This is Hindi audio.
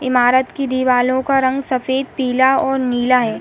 इमारत की दीवालों का रंग सफ़ेद पीला और नीला है।